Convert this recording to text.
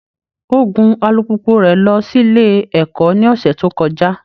Ó gun alùpùpù rẹ̀ lọ sílé ẹ̀kọ́ ní ọ̀sẹ̀ tó kọjá